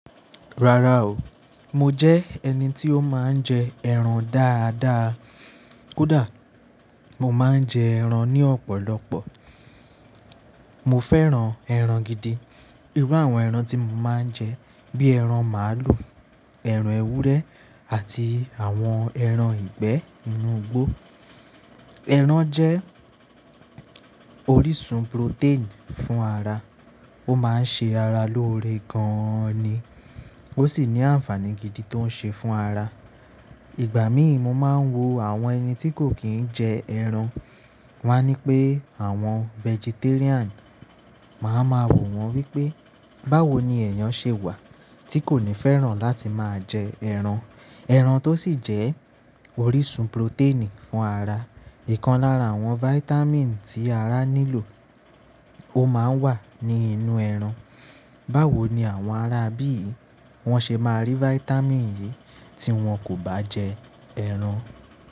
Rárá o, mo jẹ́ ẹni tí ó máa ń jẹ ẹran dáadáa, kódà mo máa ń jẹ ẹran ní ọ̀pọ̀lọpọ̀. Mo fẹ́ràn ẹran gidi. Irú àwọn ẹran tí mo máa ń jẹ, bí ẹran màlúù, ẹran ewúrẹ́ àti àwọn ẹran ìgbẹ́ inú igbó. Ẹran jẹ́ orísun protein fún ara. Ó máa ń ṣe ara lóore gan-an ni. Ó sì ní àǹfààní gidi tó ń ṣe fún ara. Ìgbà míì mo máa ń wo àwọn ẹni tí kò kí ń jẹ ẹran. Wọ́n á ní pé àwọn vegetarian. Màá ma wò wọ́n wípé, báwo ni ẹ̀yàn ṣe wà tí kò ní fẹ́ràn láti máa jẹ ẹran? Ẹran tó sì jẹ́ orísun protein fún ara. Ìkan lára àwọn vitamin tí ara nílò, ó máa ń wà ní inú ẹran. Báwo ni àwọn ará ibí yìí wọn ṣe máa rí vitamin yìí tí wọn kò bá jẹ ẹran?